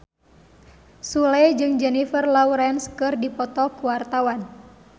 Sule jeung Jennifer Lawrence keur dipoto ku wartawan